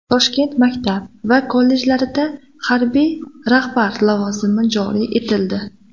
Toshkent maktab va kollejlarida harbiy rahbar lavozimi joriy etildi.